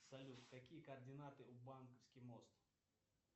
салют какие координаты у банковский мост